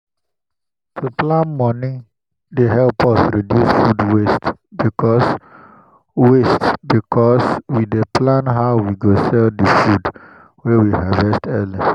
to plan moni dey help us reduce food waste because waste because we dey plan how we go sell the food wey we harvest early.